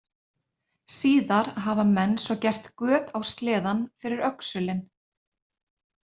Síðar hafa menn svo gert göt á sleðann fyrir öxulinn.